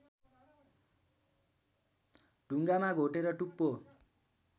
ढुङ्गामा घोटेर टुप्पो